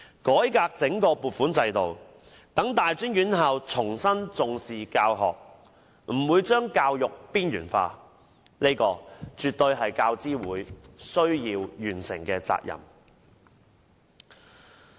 改革整個撥款制度，讓大專院校重新重視教學，不把教育邊緣化，這絕對是教資會需要完成的責任。